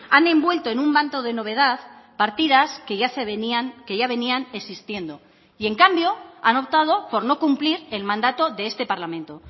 han envuelto en un manto de novedad partidas que ya se venían que ya venían existiendo y en cambio han optado por no cumplir el mandato de este parlamento